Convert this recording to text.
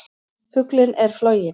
Fuglinn er floginn!